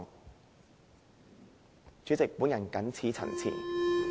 代理主席，我謹此陳辭。